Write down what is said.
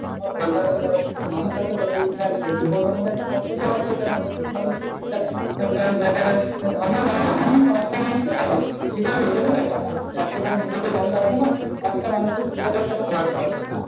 মানুষের কাছে তত ঠেকবে যুবসমাজের একটা কতব্য আছে যেন প্রতেক মানুষকে ঠিক-ঠাক একটা ব্যাপারে ঠিক আছে এটাই তো ব্যাপার। একেবার নিজেতো জানলে তো হবে না পাঁচটা মানুষকে সুবিধার কথা বলতে হবে হ্যাঁ।